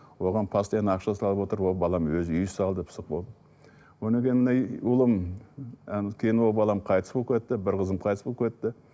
оған постоянно ақша салып отырып ол балам өзі үй салды пысық болды одан кейін мына ұлым ы кейін ол балам қайтыс болып кетті бір қызым қайтыс болып кетті